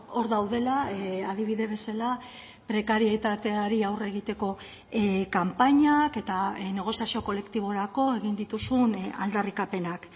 hor daudela adibide bezala prekarietateari aurre egiteko kanpainak eta negoziazio kolektiborako egin dituzun aldarrikapenak